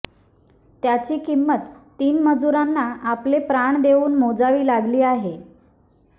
त्याची किंमत तीन मजुरांना आपले प्राण देऊन मोजावी लागली आहे